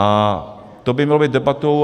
A to by mělo být debatou.